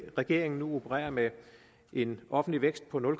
regeringen nu opererer med en offentlig vækst på nul